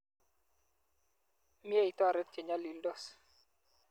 Mye itoret che nyalildos.